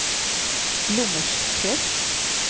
Glommersträsk